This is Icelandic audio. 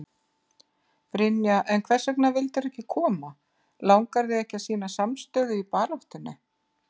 Brynja: En hvers vegna vildirðu ekki koma, langar þig ekki að sýna samstöðu í baráttunni?